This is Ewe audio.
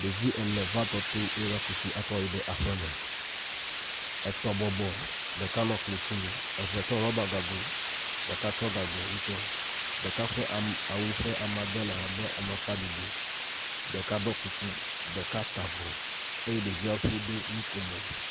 Ɖevi ene va tɔ to eye wova ku tsi akɔ yi ɖe aƒe me. Etɔ̃ bɔbɔ ɖeka nɔ klotsinu, eve tsɔ ɖɔba gago, ɖeka tsɔ gago ŋutɔ ɖeka ƒe am awu ƒe amedede le abe amakpaɖiɖi. Ɖeka ɖɔ kuku, ɖeka ta avɔ eye ɖeviawo ƒio woɖo nokomo.